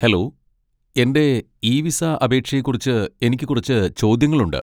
Hello, എന്റെ e visa അപേക്ഷയെക്കുറിച്ച് എനിക്ക് കുറച്ച് ചോദ്യങ്ങളുണ്ട്.